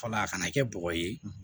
Fɔlɔ a kana kɛ bɔgɔ ye